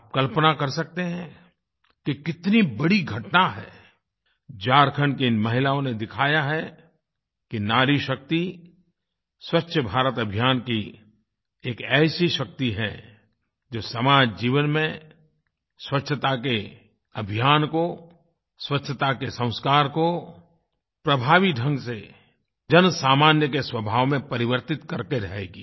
आप कल्पना कर सकते हैं कि कितनी बड़ी घटना है झारखण्ड की इन महिलाओं ने दिखाया है कि नारी शक्ति स्वच्छ भारत अभियान की एक ऐसी शक्ति है जो सामान्य जीवन में स्वच्छता के अभियान को स्वच्छता के संस्कार को प्रभावी ढंग से जनसामान्य के स्वभाव में परिवर्तित करके रहेगी